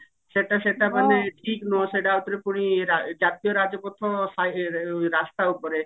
ସେଟା ସେଟା ମାନେ ଠିକ ନୁହେଁ ସେଟା ଆଉଥରେ ପୁଣି ଯା ଜାତୀୟ ରାଜପଥ ସାଇ ଇ ରାସ୍ତା ଉପରେ